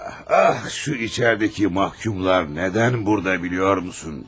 Ax, bu içəridəki məhkumlar niyə burdadır bilirsənmi?